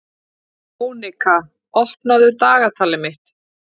Mónika, opnaðu dagatalið mitt.